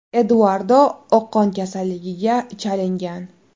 Eduardo oqqon kasalligiga chalingan.